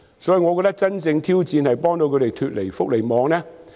所以，我覺得真正的挑戰是幫助長者脫離福利網。